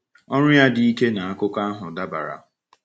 Ọ̀rụ́ ya dị ike n’akụkọ ahụ dábàrà.